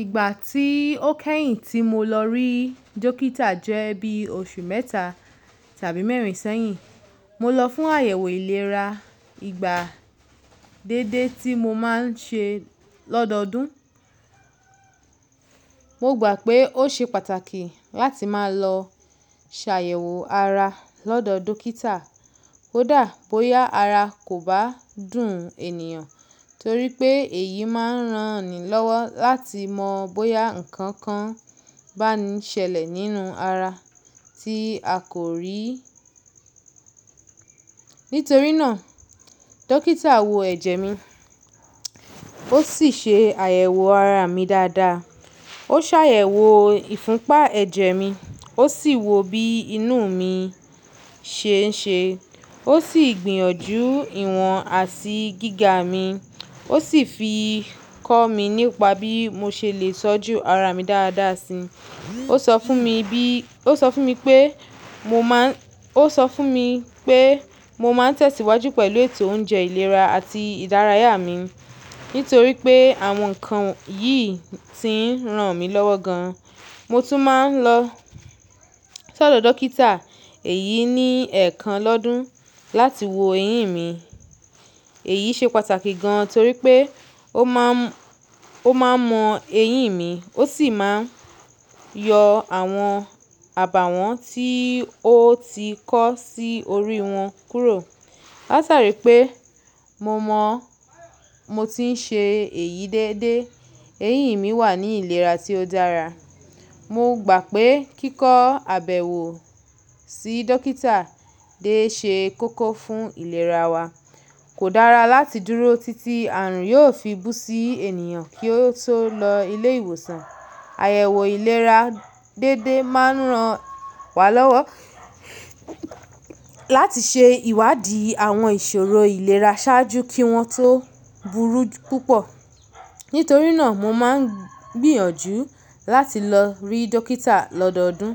Ìgbà tí ó kẹ́yìn tí mo lọ rí dókítà jẹ́ bí oṣù mẹ́ta tàbí mẹ́rin sẹ́yìn. Mo lọ fún àyẹ̀wò ìlera ìgbà dédé tí mo má n ṣe lọ́dọọdún. Mo gbà pé ó ṣe pàtàkì láti máa lọ ṣàyẹ̀wò ara lọ́dọọ dókítà, kódà bóyá ara kò bá dùn ènìyàn, torí pé èyí má n rán ni lọ́wọ́ láti mọ bóyá nǹkan kan bá ń ṣẹlẹ̀ nínú ara tí a kò rí. Nítorí náà, dókítà wo ẹ̀jẹ̀ mi, ó sì ṣe àyẹ̀wò ara mi dáadáa. Ó ṣàyẹ̀wò ìfúnpá ẹ̀jẹ̀ mi, ó sì wo bí inú mi ṣe ń ṣe, ó sì gbìyànjú ìwọ̀n àti gíga mi, ó sì fi kọ́ mi nípa bí mo ṣe lè ṣọ́jú ara mi dáadáa si. O sọ fun mi Ó sọ fún mi pé mo maa n mo má n tẹ̀síwájú pẹ̀lú ètò oúnjẹ ìlera àti ìdárayá mi, nítorí pé àwọn ǹkan yìí ti ń ran mi lọ́wọ́ gan. Mo tún má n lọ sọ dọ dókítà èyí ní ẹ̀ẹ̀kan lọ́dún láti wo eyín mi. Èyí ṣe pàtàkì gan torí pé ó má n o ma n mọ eyín mi, ó sì máa yọ àwọn àbàwọ́n tí ó ti kọ́ sí orí wọn kúrò. Látari pé mo mọ mo ti ń ṣe èyí dédé, eyín mi wà ní ìlera tí ó dára. Mo gbà pé kíkọ àbẹ̀wò sí dókítà dé ṣe koko fún ìlera wa. Kò dára láti dúró títí àrùn yóò fi bú sí ènìyàn kí ó tó lọ ilé ìwòsàn. Àyẹ̀wò ìlera dédé máa ń ran wa lọ́wọ́ láti ṣe ìwádìí àwọn ìṣòro ìlera ṣáájú kí wọ́n tó burú púpọ̀. Nítorí náà mo má ń gbìyànjú láti lọ rí dókítà lọ́dọọdún,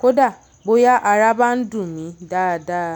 kó dà bóyá ara bá ń dùn mi dáadáa.